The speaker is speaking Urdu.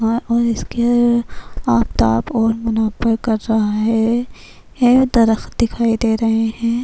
ا اور اسکے آفتاب اور منّور کا جہاں ہے۔ اے درخت دکھائی دے رہے ہے۔